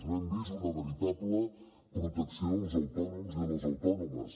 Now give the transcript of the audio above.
no hem vist una veritable protecció dels autònoms i de les autònomes